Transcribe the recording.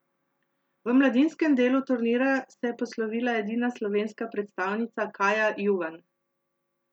V mladinskem delu turnirja se je poslovila edina slovenska predstavnica Kaja Juvan.